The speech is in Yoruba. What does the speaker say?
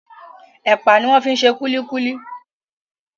Epa ní wón fí ṣe kulikuli